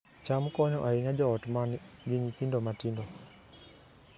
cham konyo ahinya joot ma nigi nyithindo matindo